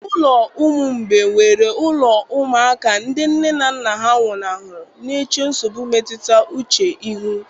Ụlọ ụmụ mgbei nwere ụlọ ụmụaka ndị nne na nna nwụnahụrụ, na-eche nsogbu mmetụta uche ihu.